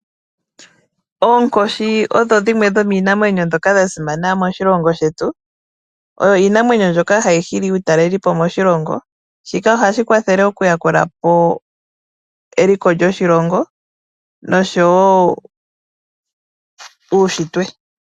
Oonkoshi odho dhimwe dhomiinamwenyo mbyoka ya simana moshilongo shetu. Oyo iinamwenyo mbyoka hayi hili aatalelipo moshilongo. Shika oha shi kwathele okuyambula po eliko lyoshilongo oshowo uushitwe.